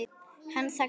Hann þagnaði en